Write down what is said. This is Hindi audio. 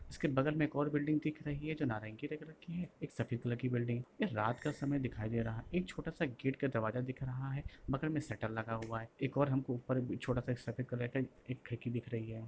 उसके बगल में एक और बिल्डिंग दिख रही है जो नारंगी रंग रखी है एक सफेद कलर की बिल्डिंग हैं यह रात का समय दिखाई दे रहा है एक छोटा सा गेट का दरवाजा दिख रहा है बगल में शटर लगा हुआ है एक और हमको ऊपर छोटा-सा एक सफेद कलर का एक खिड़की दिख रही है।